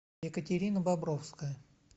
екатерина бобровская